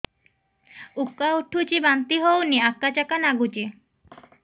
ଉକା ଉଠୁଚି ବାନ୍ତି ହଉନି ଆକାଚାକା ନାଗୁଚି